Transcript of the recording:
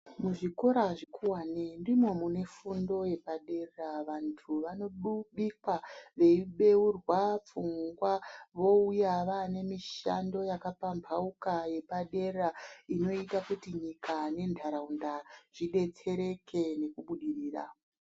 Muzvikora zvikuwane ndimo mune fundo yepadera. Vantu vanobikwa veibeurwa pfungwa, vouya vaane mishando yakapambauka yepadera inoita kuti nyika nentaraunda zvidetsereke nekubudirira.